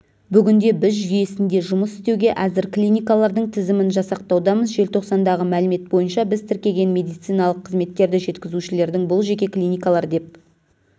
бүгінде біз жүйесінде жұмыс істеуге әзір клиникалардың тізімін жасақтаудамыз желтоқсандағы мәлімет бойынша біз тіркеген медициналық қызметтерді жеткізушілердің бұл жеке клиникалар деп